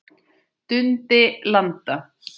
Dundi landa!